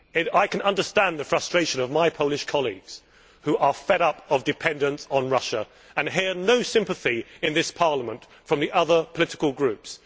I can understand the frustration of my Polish colleagues who are fed up of dependence on Russia and hear no sympathy in this Parliament from the other political groups.